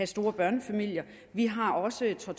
store børnefamilier vi har også centre